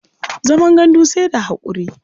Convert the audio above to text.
Zaman gandu sai da haƙuri.